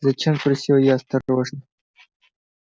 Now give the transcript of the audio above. зачем спросила я осторожно